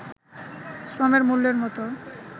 শ্রমের মূল্যের মতো